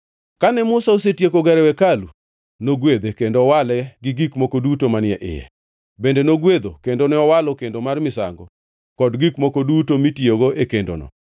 Kane Musa osetieko gero hekalu, nogwedhe, kendo owale gi gik moko duto manie iye. Bende nogwedho kendo owalo kar kendo mar misango kod gik moko duto mitiyogo e kendono.